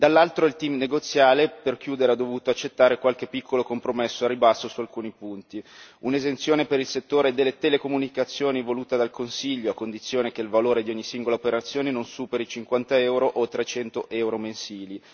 Dall'altro il team negoziale, per chiudere, ha dovuto accettare qualche piccolo compromesso a ribasso su alcuni punti un'esenzione per il settore delle telecomunicazioni voluta dal Consiglio a condizione che il valore di ogni singola operazione non superi 50 euro, oltre 100 euro mensili